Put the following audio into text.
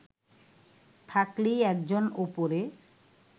থাকলেই একজন ওপরে